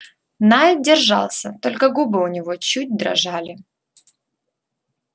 найд держался только губы у него чуть дрожали